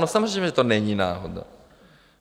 No, samozřejmě že to není náhoda.